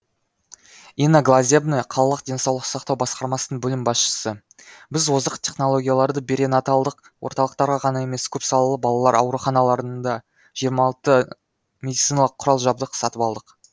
инна глазебная қалалық денсаулық сақтау басқармасының бөлім басшысы біз озық технологияларды беринаталдық орталықтарға ғана емес көпсалалы балалар ауруханаларына да жиырма алты медициналық құрал жабдық сатып алдық